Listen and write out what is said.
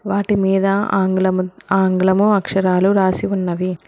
వాటి మీద ఆంగ్లము ఆంగ్లము అక్షరాలు రాసి ఉన్నవి.